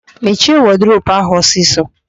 Mechie wọdụrobu ahụ ọsịsọ!